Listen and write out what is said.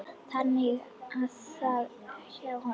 Þannig var það hjá okkur.